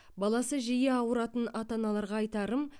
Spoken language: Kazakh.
баласы жиі ауыратын ата аналарға айтарым